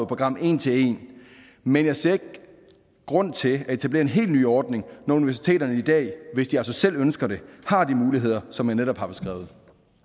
program en til en men jeg ser ikke grund til at etablere en helt ny ordning når universiteterne i dag hvis de altså selv ønsker det har de muligheder som jeg netop har beskrevet